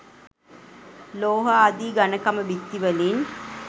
ලෝහ ආදී ඝණකම බිත්ති වලින්